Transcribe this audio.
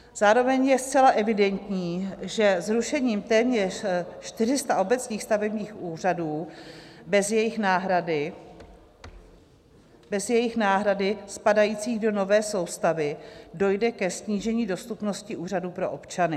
Zároveň je zcela evidentní, že zrušením téměř 400 obecních stavebních úřadů bez jejich náhrady, spadajících do nové soustavy, dojde ke snížení dostupnosti úřadů pro občany.